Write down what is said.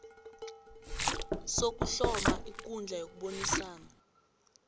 sokuhloma ikundla yokubonisana